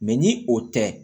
ni o tɛ